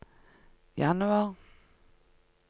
januar